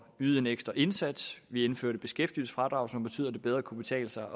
yde en ekstra indsats vi indførte beskæftigelsesfradraget som betød at det bedre kunne betale sig